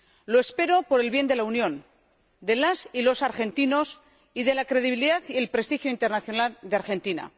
Lo espero por el bien de la Unión, de las argentinas y de los argentinos, y por la credibilidad y el prestigio internacional de Argentina.